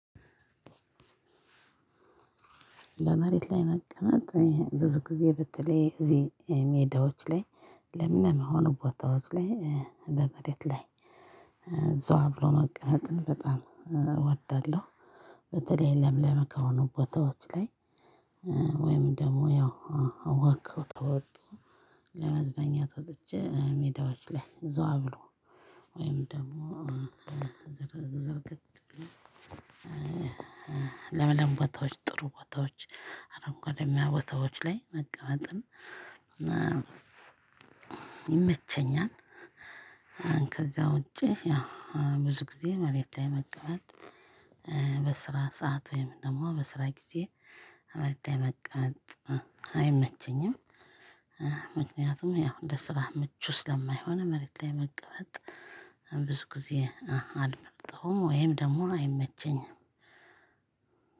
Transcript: ለመሬት ላይ መቀመጥ ብዙ ጊዜ ብትለይ እዚህ ሜዳዎች ላይ ለምን በሆኑ ቦታዎች ላይ በመሬት ላይ ዘዋ ብሎ መቀመጥን በጣም እወዳለሁ። በተለይ ለምለም ከሆኑ ቦታዎች ላይ ወይም ደግሞ ያው ለዎክ ከወጡ ለመዝናኛ በተመቼ ሜዳዎች ላይ ዘዋ ብሎ ወይም ደግሞ ዘርገት ለምለም ቦታዎች ጥሩ ቦታዎች አረንጓዴሚያ ቦታዎች ላይ መቀመጥን ይመቸኛል። ከዛ ውጪ ብዙ ጊዜ መሬት ላይ መቀመጥ በስራ ሰዓት ወይም ደግሞ በስራ ጊዜ መሬት መቀመጥ አይመቸኝም። ምክንያቱም ያው ለስራ ምቹ ስለማይሆን መሬት ላይ መቀመጥ ብዙ ጊዜ አልመርጠውም ወይም ደግሞ አይመቸኝም።